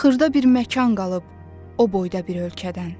Xırda bir məkan qalıb o boyda bir ölkədən.